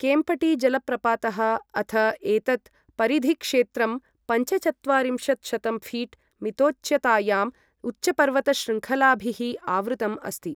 केम्पटी जलप्रपातः अथ एतत् परिधिक्षेत्रं पञ्चचत्वारिंशत्शतं ऴीट् मितोच्चतायाम् उच्चपर्वतशृङ्खलाभिः आवृतम् अस्ति।